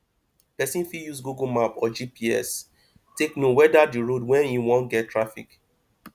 person fit use google map or gps take know weda di road wey im wan get traffic